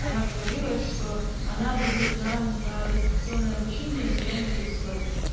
она говорила что она будет нам на дистанционное обучение задание присылать